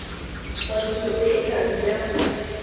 kwadiso e e thari ya